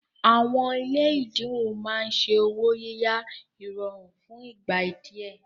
Àwọn ilé ẹ̀dínwó máa ń ṣe ọwọ́ yíyá ìrọ̀rùn fún ìgbà díẹ̀